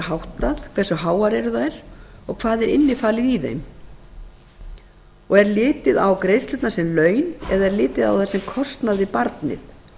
háttað hversu háar eru þær og hvað er innifalið í þeim er litið á greiðslurnar sem laun eða kostnað við barnið